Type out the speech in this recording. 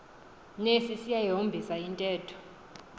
nesi siyayihombisa intetho